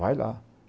Vai lá.